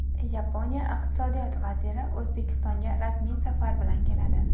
Yaponiya Iqtisodiyot vaziri O‘zbekistonga rasmiy safar bilan keladi.